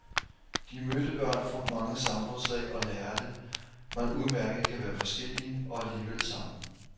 De mødte børn fra mange samfundslag og lærte, man udmærket kan være forskellige og alligevel sammen.